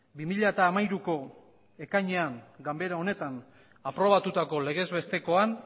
bi mila hamairuko ekainean ganbara honetan aprobatutako legez bestekoan